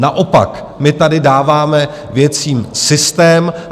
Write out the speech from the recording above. Naopak, my tady dáváme věcem systém.